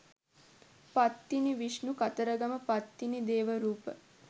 පත්තිනි විෂ්ණු කතරගම පත්තිනි දේව රූප.